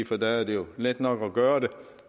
for der er det jo let nok at gøre